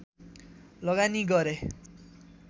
लगानी गरे